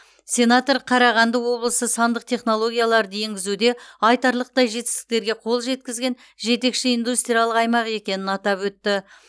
сенатор қарағанды облысы сандық технологияларды енгізуде айтарлықтай жетістіктерге қол жеткізген жетекші индустриялық аймақ екенін атап өтті